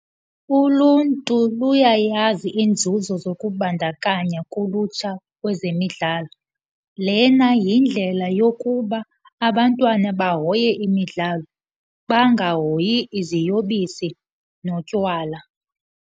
Uluntu luyayazi iinzuzo zokubandakanya kulutsha kwezemidlalo. Lena yindlela yokuba abantwana bahoye imidlalo, bangahoyi iziyobisi notywala.